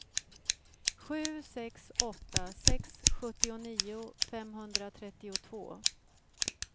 sju sex åtta sex sjuttionio femhundratrettiotvå